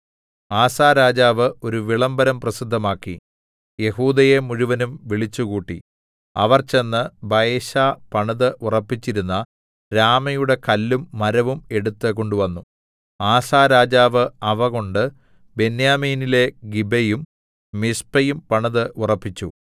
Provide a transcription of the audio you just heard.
ആസാ രാജാവ് ഒരു വിളംബരം പ്രസിദ്ധമാക്കി യെഹൂദയെ മുഴുവനും വിളിച്ചുകൂട്ടി അവർ ചെന്ന് ബയെശാ പണിത് ഉറപ്പിച്ചിരുന്ന രാമയുടെ കല്ലും മരവും എടുത്ത് കൊണ്ടുവന്നു ആസാ രാജാവ് അവ കൊണ്ട് ബെന്യാമീനിലെ ഗിബയും മിസ്പയും പണിത് ഉറപ്പിച്ചു